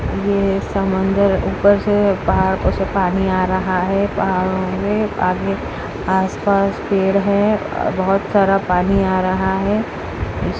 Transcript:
ये समुंदर ऊपर से पहाड़ पहाड़ों से पानी आ रहा है पहाड़ों मे आदमी आसपास पेड़ हैं आ बहोत सारा पानी आ रहा है इस --